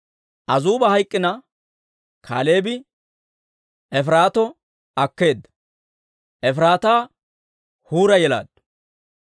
Azuuba hayk'k'ina, Kaaleebi Efiraato akkeedda; Efiraataa Huura yelaaddu.